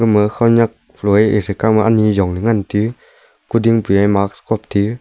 ma khanak ethe kaw ma ani jongley ngan te uu kuding pe mask khop tiuu.